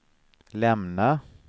lämna